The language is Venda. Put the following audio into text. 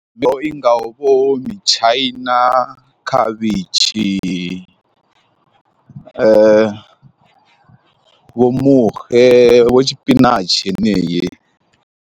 I ngaho mitshaina, khavhishi vho muxe vho tshipinatshi heneyi.